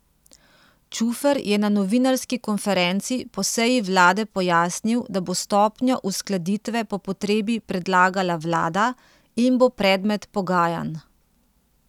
Čufer je na novinarski konferenci po seji vlade pojasnil, da bo stopnjo uskladitve po potrebi predlagala vlada in bo predmet pogajanj.